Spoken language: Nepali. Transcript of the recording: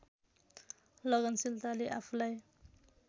लगनशीलताले आफूलाई